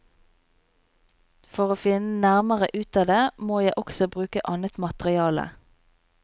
For å finne nærmere ut av det, må jeg også bruke annet materiale.